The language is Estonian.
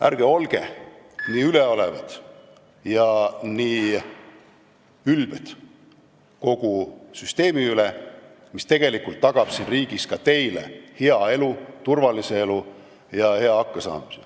Ärge olge nii üleolevad ja nii ülbed kogu süsteemi suhtes, mis tegelikult tagab siin riigis ka teile hea, turvalise elu ja hea hakkamasaamise.